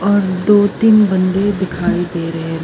ਔਰ ਦੋ ਤਿੰਨ ਬੰਦੇ ਦਿਖਾਏ ਦੇ ਰਹੇ --